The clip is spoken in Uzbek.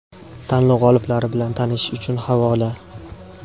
Tanlov g‘oliblari bilan tanishish uchun havola.